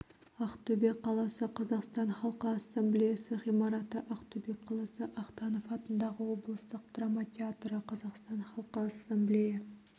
ақтөбе қаласы қазақстан халқы ассамблеясы ғимараты ақтөбе қаласы ахтанов атындағы облыстық драма театры қазақстан халқы ассамблея